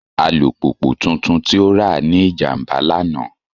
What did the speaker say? Alupupu tuntun ti o ra ni ijamba lana.